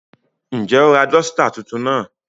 Njẹ o ra dosita tuntun lánà?